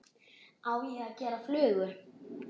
Á ég að gera flugu?